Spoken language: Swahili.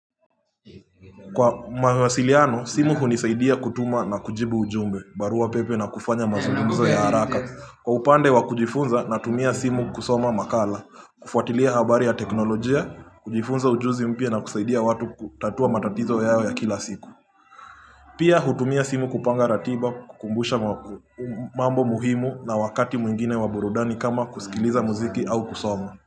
Kwa mawasiliano, simu hunisaidia kutuma na kujibu ujumbe, barua pepe na kufanya mazungumzo ya haraka. Kwa upande wa kujifunza na tumia simu kusoma makala, kufuatilia habari ya teknolojia, kujifunza ujuzi mpya na kusaidia watu kutatua matatizo yao ya kila siku. Pia hutumia simu kupanga ratiba, kukumbusha mwakumambo muhimu na wakati mwingine wa burudani kama kusikiliza muziki au kusoma.